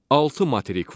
Altı materik var.